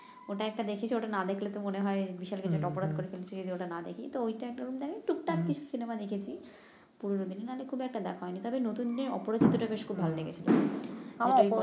ওটা একটা দেখেছি ওটা না দেখলে তো মনে হয় বিশাল কিছু একটা অপরাধ করে ফেলেছি যদি ওটা না দেখি তো ওটা একরকম জানি টুকটাক কিছু সিনেমা দেখেছি পুরনো দিনের না হলে খুব একটা দেখা হয় নি তবে নতুনের অপরাজিত টা বেশ খুব ভাল লেগেছে